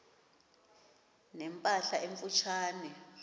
ne mpahla emfutshane